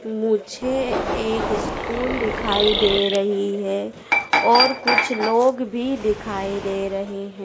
मुझे एक स्कूल दिखाई दे रही है और कुछ लोग भी दिखाई दे रहे हैं।